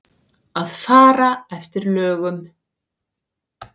Að fara eftir lögum.